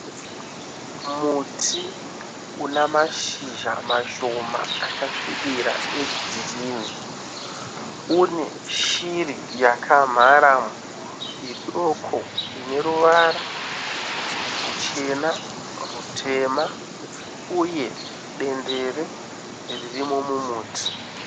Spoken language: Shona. Muti une mashizha mashoma akasvira egirini une shiri yakamharamo idoko ine ruvara ruchena, rutema uye dendere ririmo mumuti.